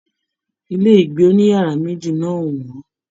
Ilé ìgbé òníyàrá méjì náà o wọn.